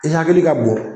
I hakili ka bon